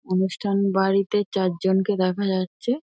অনুষ্ঠান বাড়িতে চারজনকে দেখা যাচ্ছে।